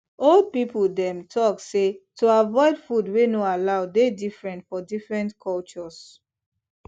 old people dem talk say to dey avoid food wey no allow dey different for different cultures